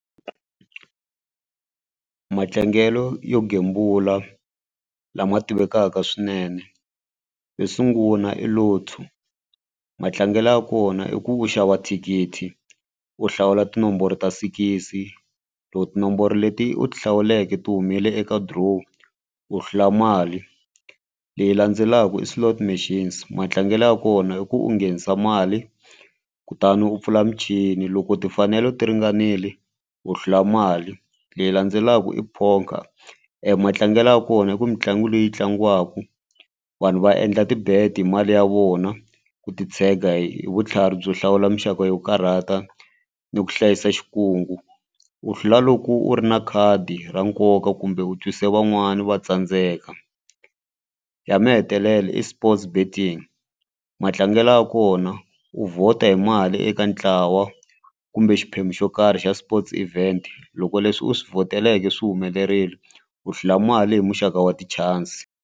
Matlangelo yo gembula lama tivekaka swinene yo sungula i Lotto matlangelo ya kona i ku u xava thikithi u hlawula tinomboro ta six loko tinomboro leti u ti hlawuleke ti humile eka draw u hlula mali. Leyi landzelaka i slot machines matlangelo ya kona i ku u nghenisa mali kutani u pfula michini loko timfanelo ti ringanile u hlula mali. Leyi landzelaka i poker matlangelo ya kona i ku mitlangu leyi tlangiwaka vanhu va endla ti-bet hi mali ya vona ku titshega hi vutlhari byo hlawula muxaka yo karhata ni ku hlayisa xikungu u hlula loko u ri na khadi ra nkoka kumbe u twise van'wani va tsandzeka. Ya mahetelela i sports betting matlangelo ya kona u vhota hi mali eka ntlawa kumbe xiphemu xo karhi xa sports event loko leswi u swi vhoteleke swi humelerile u hlula mali hi muxaka wa ti-chance.